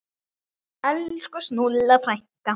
Elsku Snúlla frænka.